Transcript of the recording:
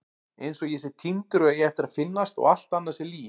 Einsog ég sé týndur og eigi eftir að finnast og allt annað sé lygi.